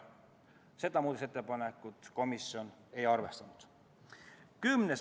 Seda muudatusettepanekut komisjon ei arvestanud.